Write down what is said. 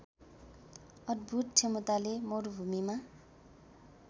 अद्‌भूत क्षमताले मरुभूमीमा